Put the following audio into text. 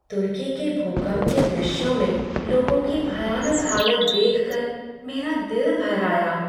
तुर्की के भूकंप के दृश्यों में लोगों की भयानक हालत देख कर मेरा दिल भर आया।